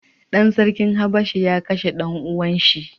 Ɗan sarkin habasha ya kashe ɗan uwan shi.